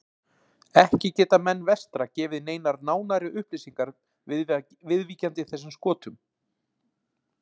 Ekki geta menn vestra gefið neinar nánari upplýsingar viðvíkjandi þessum skotum.